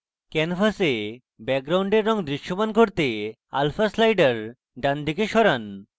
canvas ব্যাকগ্রাউন্ডের রঙ দৃশ্যমান করতে alpha slider ডান দিকে সরান